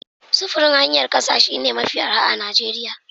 Sufurin hanyar ƙasa shine mafi arha a Najeriya.